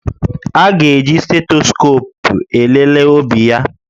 A ga-eji stetoscopu elele obi ya